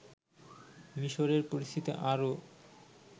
মিশরের পরিস্থিতি আরও